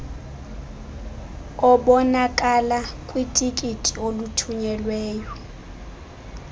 obonakala kwitikiti olithunyelweyo